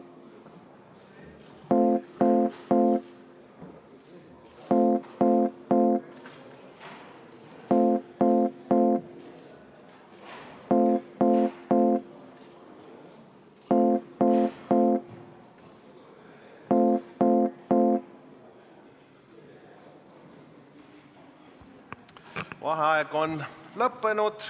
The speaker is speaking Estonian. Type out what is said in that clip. Vaheaeg on lõppenud.